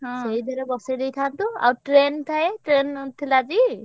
ସେଇଥରେ ବସେଇଦେଇଥାନ୍ତୁ। train train ଥିଲା ଟି?